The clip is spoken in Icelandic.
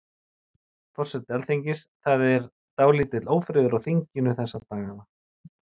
Forseti Alþingis, það er dálítill ófriður á þinginu þessa dagana?